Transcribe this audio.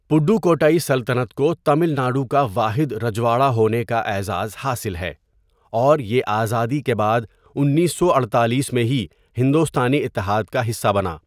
پڈوکوٹائی سلطنت کو تامل ناڈو کا واحد رجواڑہ ہونے کا اعزاز حاصل ہے، اور یہ آزادی کے بعد اُنیسو اٹھتالیس میں ہی ہندوستانی اتحاد کا حصہ بنا۔